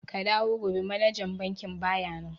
Ku dawo gobe manajan bankin baya nan.